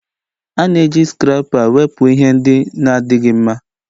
A na-eji Scarapa wepụ ihe ndị na-adịghị mma